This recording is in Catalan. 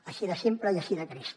així de simple i així de trist